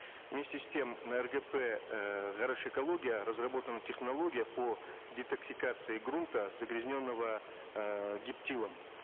вместе с тем ргп э ғарышэкология разработана технология по детоксикации грунта загрязненного эээ гептилом